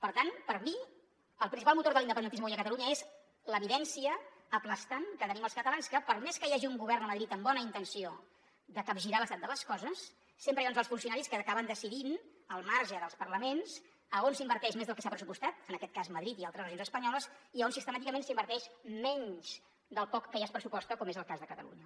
per tant per mi el principal motor de l’independentisme avui a catalunya és l’evidència aplastant que tenim els catalans que per més que hi hagi un govern a madrid amb bona intenció de capgirar l’estat de les coses sempre hi ha uns alts funcionaris que acaben decidint al marge dels parlaments a on s’inverteix més del que s’ha pressupostat en aquest cas madrid i altres regions espanyoles i a on sistemàticament s’inverteix menys del poc que ja es pressuposta com és el cas de catalunya